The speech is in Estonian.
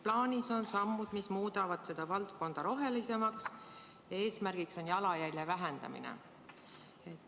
Plaanis on sammud, mis muudavad seda valdkonda rohelisemaks, ja eesmärk on jalajälje vähendamine.